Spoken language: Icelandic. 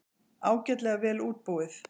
Ágætlega vel útbúið.